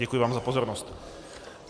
Děkuji vám za pozornost.